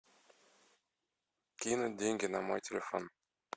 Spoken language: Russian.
кинуть деньги на мой телефон